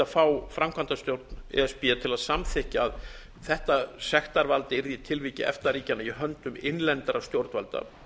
fá framkvæmdastjórn e s b til að samþykkja að þetta sektarvald yrði í tilviki efta ríkjanna i höndum innlendra stjórnvalda